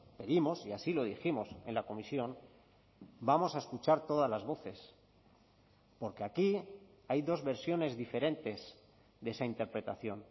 pedimos y así lo dijimos en la comisión vamos a escuchar todas las voces porque aquí hay dos versiones diferentes de esa interpretación